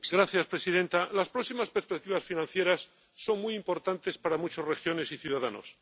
Señora presidenta, las próximas perspectivas financieras son muy importantes para muchas regiones y ciudadanos.